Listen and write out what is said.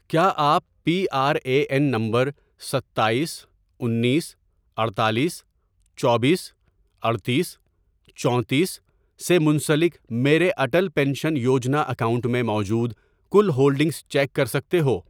کیا آپ P R A N نمبر ستایس، انیس، اڈتالیس، چوبیس، اڈتیس، چونتیس، سے منسلک میرے اٹل پینشن یوجنا اکاؤنٹ میں موجود کل ہولڈنگز چیک کر سکتے ہو؟